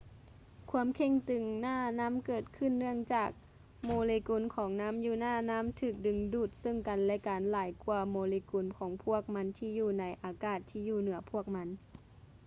ຄວາມເຄັ່ງຕຶງໜ້ານ້ຳເກີດຂຶ້ນເນື່ອງຈາກໂມເລກຸນຂອງນໍ້າຢູໜ້ານໍ້າຖືກດຶງດູດເຊິ່ງກັນ ແລະ ກັນຫຼາຍກ່ວາໂມເລກຸນຂອງພວກມັນທີ່ຢູ່ໃນອາກາດທີ່ຢູ່ເໜືອພວກມັນ